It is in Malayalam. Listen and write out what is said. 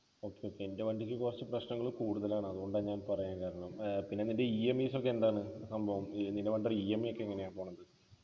okay okay എൻ്റെ വണ്ടിക്ക് കുറച്ച് പ്രശ്നങ്ങള് കൂടുതലാണ് അതുകൊണ്ടാ ഞാൻ പറയാൻ കാരണം ഏർ പിന്നെ നിൻ്റെ EMI സൊക്കെ എന്താണ് സംഭവം നിലവിൽ EMI ഒക്കെ എങ്ങനെയാ പോകുന്നത്